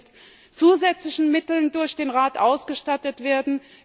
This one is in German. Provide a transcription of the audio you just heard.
Es sollte mit zusätzlichen Mitteln durch den Rat ausgestattet werden.